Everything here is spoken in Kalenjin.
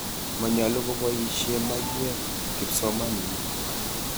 Manyalu kopoisye maiwek kipsomaninik.